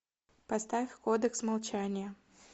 поставь кодекс молчания